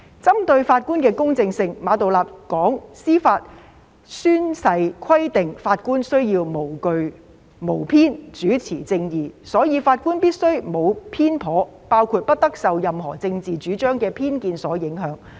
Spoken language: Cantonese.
針對法官的公正性，馬道立表示，司法誓言規定法官須無懼無偏，主持正義，所以法官必須沒有偏頗，包括不得受任何政治主張的偏見所影響。